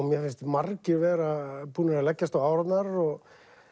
mér finnst margir vera búnir að leggjast á árarnar og